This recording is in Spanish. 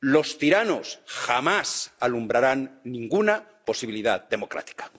Los tiranos jamás alumbrarán ninguna posibilidad democrática.